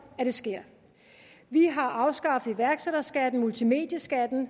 at det sker vi har afskaffet iværksætterskatten og multimedieskatten